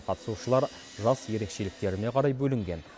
қатысушылар жас ерекшеліктеріне қарай бөлінген